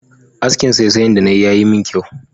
Askin saisayan da nayi ya min kyau